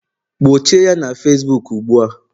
gbochie ya na Facibuku ugbu a!